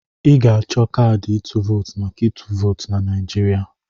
Ị ga-achọ kaadị ịtụ vootu maka ịtụ vootu na Naijiria.